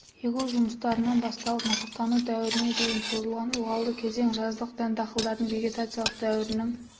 егу жұмыстарынан басталып масақтану дәуіріне дейін созылған ылғалды кезең жаздық дәнді дақылдардың вегетациялық дәуірінің